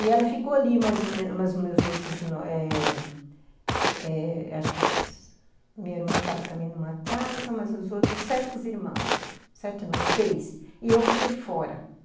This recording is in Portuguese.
E ela ficou ali, mas os meus outros eh eh, acho que minha irmã estava também em uma casa, mas os outros sete irmãos, sete não, seis, e eu fiquei fora.